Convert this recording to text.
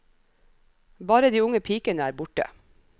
Bare de unge pikene er borte.